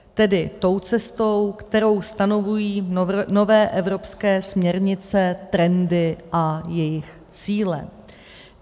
Tedy tou cestou, kterou stanovují nové evropské směrnice, trendy a jejich cíle.